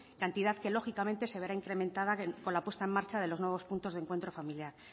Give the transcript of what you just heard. cantidad que lógicamente se verá incrementada con la puesta en marcha de los nuevos puntos de encuentro familiar